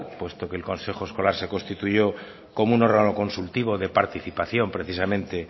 puesto que el consejo escolar se constituyó como un órgano consultivo de participación precisamente